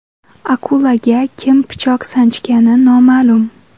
Akulaga kim pichoq sanchgani noma’lum.